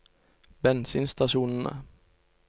bensinstasjonene